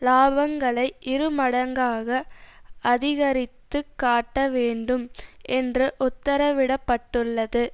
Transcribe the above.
இலாபங்களை இரு மடங்காக அதிகரித்து காட்டவேண்டும் என்று உத்திரவிடப்பட்டுள்ளது